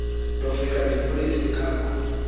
ndofika ndibulise khaphu